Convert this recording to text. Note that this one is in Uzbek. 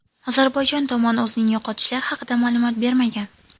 Ozarbayjon tomon o‘zining yo‘qotishlar haqida ma’lumot bermagan.